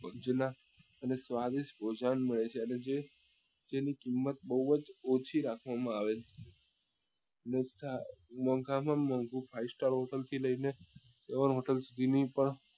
જુના અને સ્વાદિષ્ટ ભોજન હોય છે અને જે તેની કિંમત બઉ જ ઓછી રાખવા માં આવે છે મોંઘા માં મોંઘી five star hotel થી લઇ ને